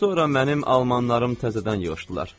Sonra mənim almanlarım təzədən yığışdılar.